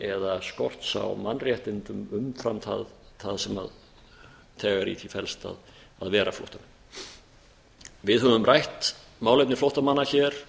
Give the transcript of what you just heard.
eða skorts á mannréttindum umfram það sem þegar í því felst að vera flóttamenn við höfum rætt málefni flóttamanna hér